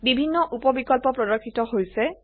বিভিন্ন উপ বিকল্প প্ৰৰ্দশিত হৈছে